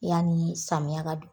I yani samiya ka do